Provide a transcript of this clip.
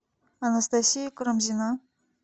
анастасия карамзина